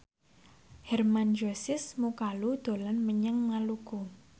Hermann Josis Mokalu dolan menyang Maluku